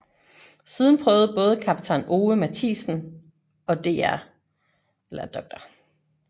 Siden prøvede både kaptajn Ove Mathiesen og dr